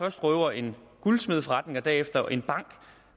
at røve en guldsmedeforretning og derefter en bank